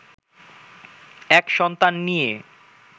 এক সন্তান নিয়ে